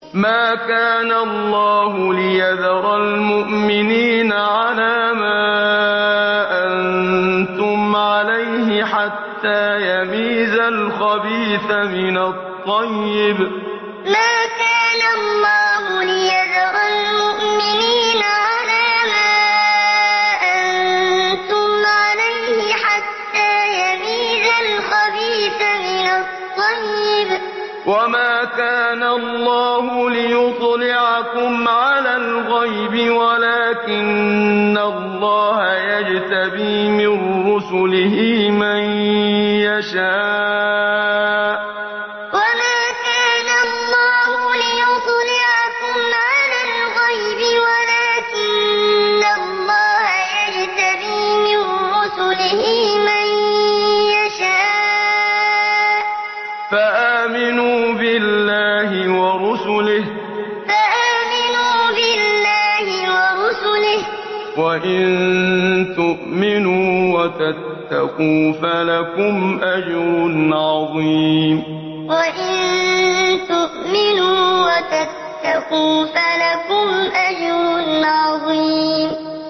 مَّا كَانَ اللَّهُ لِيَذَرَ الْمُؤْمِنِينَ عَلَىٰ مَا أَنتُمْ عَلَيْهِ حَتَّىٰ يَمِيزَ الْخَبِيثَ مِنَ الطَّيِّبِ ۗ وَمَا كَانَ اللَّهُ لِيُطْلِعَكُمْ عَلَى الْغَيْبِ وَلَٰكِنَّ اللَّهَ يَجْتَبِي مِن رُّسُلِهِ مَن يَشَاءُ ۖ فَآمِنُوا بِاللَّهِ وَرُسُلِهِ ۚ وَإِن تُؤْمِنُوا وَتَتَّقُوا فَلَكُمْ أَجْرٌ عَظِيمٌ مَّا كَانَ اللَّهُ لِيَذَرَ الْمُؤْمِنِينَ عَلَىٰ مَا أَنتُمْ عَلَيْهِ حَتَّىٰ يَمِيزَ الْخَبِيثَ مِنَ الطَّيِّبِ ۗ وَمَا كَانَ اللَّهُ لِيُطْلِعَكُمْ عَلَى الْغَيْبِ وَلَٰكِنَّ اللَّهَ يَجْتَبِي مِن رُّسُلِهِ مَن يَشَاءُ ۖ فَآمِنُوا بِاللَّهِ وَرُسُلِهِ ۚ وَإِن تُؤْمِنُوا وَتَتَّقُوا فَلَكُمْ أَجْرٌ عَظِيمٌ